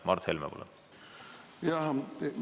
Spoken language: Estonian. Mart Helme, palun!